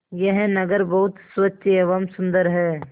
यह नगर बहुत स्वच्छ एवं सुंदर है